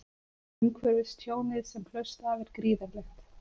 Umhverfistjónið sem hlaust af er gríðarlegt